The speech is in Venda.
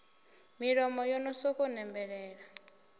milomo yo no sokou nembelela